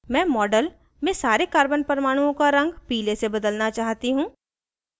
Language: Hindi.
मैं model में सारे carbon परमाणुओं का रंग पीले से बदलना चाहती हूँ